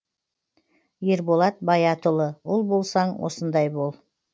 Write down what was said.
ерболат баятұлы ұл болсаң осындай бол